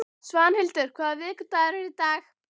Svanhildur, hvaða vikudagur er í dag?